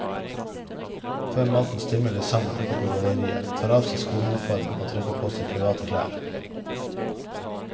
Før maten stimler de sammen oppe på galleriet, tar av seg skoleuniformen og trekker på seg private klær.